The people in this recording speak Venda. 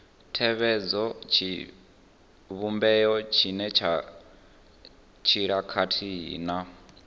tevhedza tshivhumbeo tshenetshiḽa khathihi na